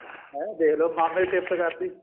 ਹੈਂ ਦੇਖਲੋ ਮਾਮੇ ਦੀ ਸਿਫਤ ਕਰਤੀ